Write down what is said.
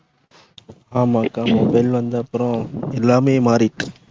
ஆமா அக்கா மொபைல் வந்த அப்புறம் எல்லாமே மாறிட்டு.